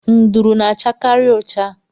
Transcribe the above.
Nduru na- achakari ụcha.